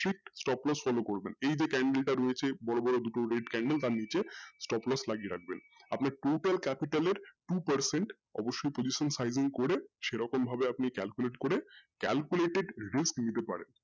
stock plus follow করবেন এই যে candle টা রয়েছে নীচে বড় বড় দুটো candle stock plus লাগিয়ে রাখবেন আপনি আপনার এর capital এ two percent করে সেরকমভাবে আপনি calculate করে calculated risk নিতে পারেন।